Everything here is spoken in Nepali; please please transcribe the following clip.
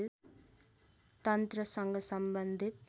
तन्त्रसँग सम्बन्धित